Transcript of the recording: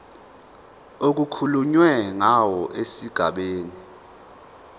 okukhulunywe ngawo esigabeni